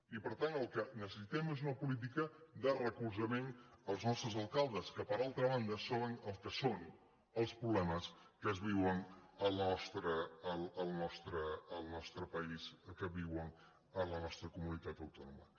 i per tant el que necessitem és una política de recolzament als nostres alcaldes que per altra banda saben el que són els problemes que es viuen al nostre país que es viuen a la nostra comunitat autònoma